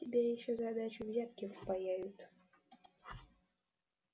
тебе ещё за дачу взятки впаяют